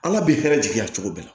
An ka bi hɛrɛ jigiya cogo bɛɛ